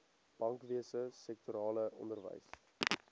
bankwese sektorale onderwys